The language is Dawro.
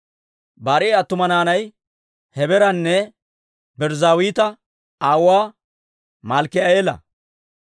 Barii'a attuma naanay Hebeeranne Birzzaawita aawuwaa Malkki'eela.